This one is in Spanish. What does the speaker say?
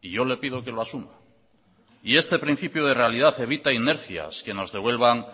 y yo le pido que lo asuma y este principio de realidad evita inercias que nos devuelvan